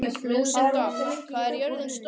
Lúsinda, hvað er jörðin stór?